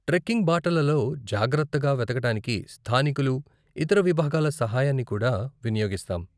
Trekking బాటలలో జాగ్రత్తగా వెతకటానికి స్థానికులు, ఇతర విభాగాల సహాయాన్ని కూడా వినియోగిస్తాం.